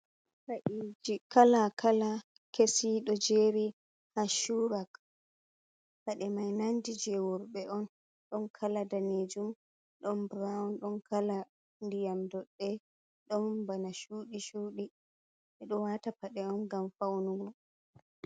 Paɗeeji kala kala kesi ɗo jeeri haa cuura paɗe mai nandi jey worɓe on, ɗon kala daneejum ɗon burawun ɗon kala ndiyam doɗɗe, don bana suuɗi suuɗi, ɓe ɗo waata paɗe on ngam fawnugo.